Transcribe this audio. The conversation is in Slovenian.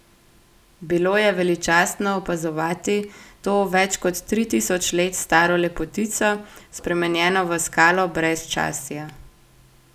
Bilo je veličastno opazovati to več kot tri tisoč let staro lepotico, spremenjeno v skalo brezčasja.